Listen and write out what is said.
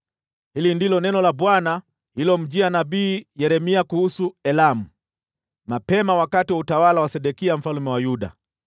Hili ndilo neno la Bwana lililomjia nabii Yeremia kuhusu Elamu, mapema katika utawala wa Sedekia mfalme wa Yuda: